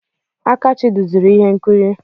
Akachi duziri ihe nkiri.